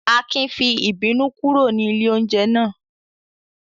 Akin fi ìbínú kúrò ní ilé-oúnjẹ náà?